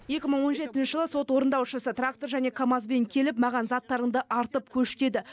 екі мың он жетінші жылы сот орындаушысы трактор және камазбен келіп маған заттарыңды артып көш деді